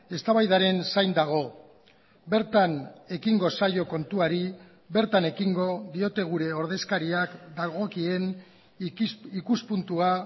eztabaidaren zain dago bertan ekingo zaio kontuari bertan ekingo diote gure ordezkariak dagokien ikuspuntua